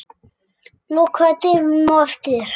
Lokaðu dyrunum á eftir þér.